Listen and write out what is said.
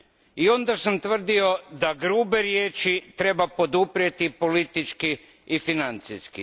I onda sam tvrdio da grube riječi treba poduprijeti politički i financijski.